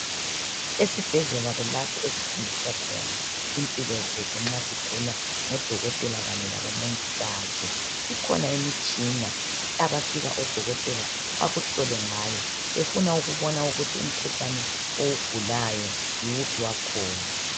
Esibhedlela kulapho esisindiswa khona impilo zethu nxa sigula ngodokotela kanye labomongikazi, ikhona imitshina abafika odokotela bakuhlele ngayo befuna ukubona ukuthi umkhuhlane owugulayo yiwuphi wakhona.